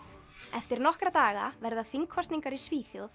eftir nokkra daga verða þingkosningar í Svíþjóð